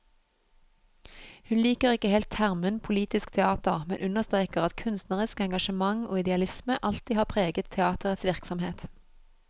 Hun liker ikke helt termen politisk teater, men understreker at kunstnerisk engasjement og idealisme alltid har preget teaterets virksomhet.